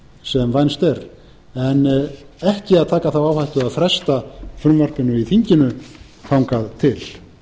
sem vænst er en ekki að taka þá áhættu að fresta frumvarpinu í þinginu þangað til